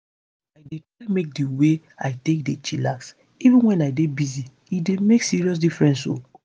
i dey try make di way i take dey chillax even wen i dey busy e dey make serious difference o.